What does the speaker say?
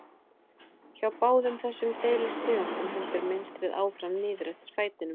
Hjá báðum þessum deilitegundum heldur mynstrið áfram niður eftir fætinum.